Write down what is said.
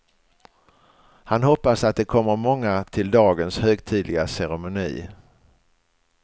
Han hoppas att det kommer många till dagens högtidliga ceremoni.